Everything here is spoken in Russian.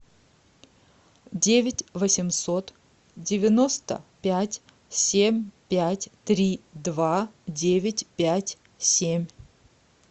девять восемьсот девяносто пять семь пять три два девять пять семь